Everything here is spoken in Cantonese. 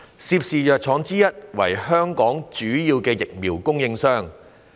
涉事藥廠之一為香港主要的疫苗供應商。